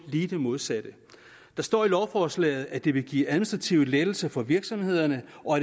lige det modsatte der står i lovforslaget at det vil give administrative lettelser for virksomhederne og